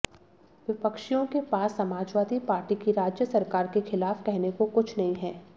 विपक्षियों के पास समाजवादी पार्टी की राज्य सरकार के खिलाफ कहने को कुछ नहीं है